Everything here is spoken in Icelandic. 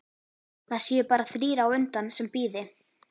Það séu bara þrír á undan sem bíði.